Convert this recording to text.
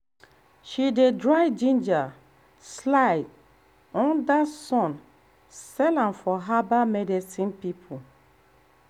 she dey dry ginger slice um under sun sell am for herbal medicine people.